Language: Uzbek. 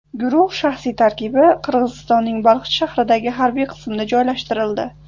Guruh shaxsiy tarkibi Qirg‘izistonning Baliqchi shahridagi harbiy qismda joylashtirildi.